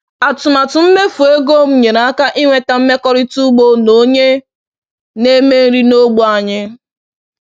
Atụmatụ mmefu ego m nyere aka inweta mmekọrịta ugbo na onye na-eme nri n’ógbè anyị